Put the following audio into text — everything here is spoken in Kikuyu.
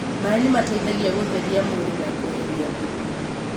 Maaĩ nĩ mateithagia gũtheria mwĩrĩ na kweheria thumu.